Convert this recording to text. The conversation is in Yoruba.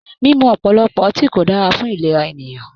Mímú ọ̀pọ̀lọpọ̀ ọtí kò dára fún ìlera ènìyàn.